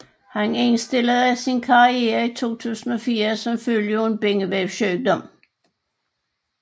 Han indstillede sin karriere i 2004 som følge af en bindevævssygdom